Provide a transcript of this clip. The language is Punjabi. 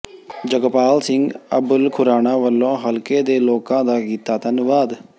ਜਗਪਾਲ ਸਿੰਘ ਅਬੁੱਲਖੁਰਾਣਾ ਵੱਲੋਂ ਹਲਕੇ ਦੇ ਲੋਕਾਂ ਦਾ ਕੀਤਾ ਧੰਨਵਾਦ